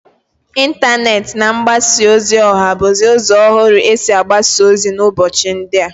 Intaneti na mgbasa ozi oha buzi uzo ohuru esi agbasa ozi n'ubochi ndia.